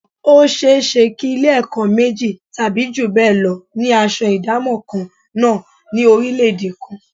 Ó ṣe é ṣe kí Ilé-ẹ̀kọ́ méjì tàbí jù bẹ́ẹ̀ lọ ni aṣọ ìdámọ̀ kan náà ní orílẹ̀-èdè kan